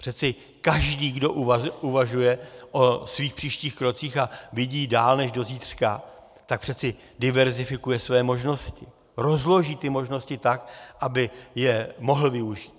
Přeci každý, kdo uvažuje o svých příštích krocích a vidí dál než do zítřka, tak přeci diverzifikuje své možnosti, rozloží ty možnosti tak, aby je mohl využít.